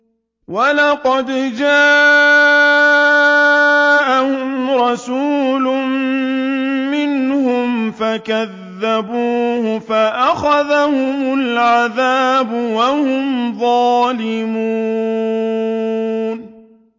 وَلَقَدْ جَاءَهُمْ رَسُولٌ مِّنْهُمْ فَكَذَّبُوهُ فَأَخَذَهُمُ الْعَذَابُ وَهُمْ ظَالِمُونَ